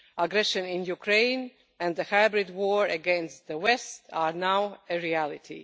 Aggression in Ukraine and the hybrid war against the west are now a reality.